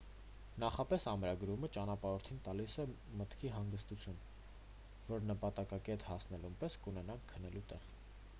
նախապես ամրագրումը ճանապարհորդին տալիս է մտքի հանգստություն որ նպատակակետ հասնելուն պես կունենան քնելու տեղ